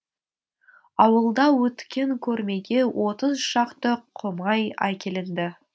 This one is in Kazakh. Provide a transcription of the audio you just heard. ауылда өткен көрмеге отыз шақты құмай әкелінді